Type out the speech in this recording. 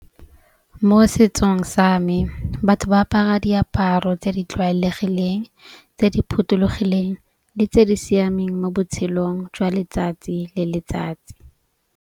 Mo setsong sa me batho ba apara diaparo tse di tlwaelegileng tse di phothulogileng le tse di siameng mo botshelong jwa letsatsi le letsatsi.